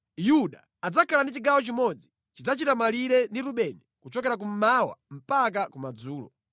“Yuda adzakhala ndi chigawo chimodzi. Chidzachita malire ndi Rubeni kuchokera kummawa mpaka kumadzulo.